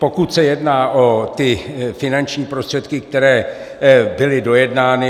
Pokud se jedná o ty finanční prostředky, které byly dojednány.